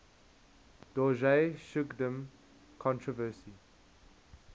dorje shugden controversy